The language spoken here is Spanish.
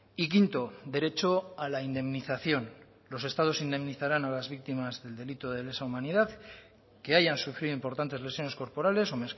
y quinto derecho a la indemnización los estados indemnizarán a las víctimas del delito de lesa humanidad que hayan sufrido importantes lesiones corporales o